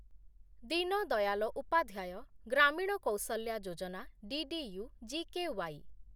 Deen Dayal Upadhyaya Grameen Kaushalya Yojana DDU GKY